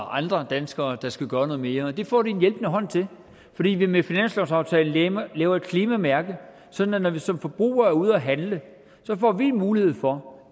andre danskere der skal gøre noget mere det får de en hjælpende hånd til fordi vi med finanslovsaftalen laver laver et klimamærke sådan at når vi som forbrugere er ude at handle får vi mulighed for